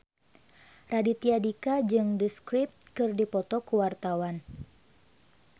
Raditya Dika jeung The Script keur dipoto ku wartawan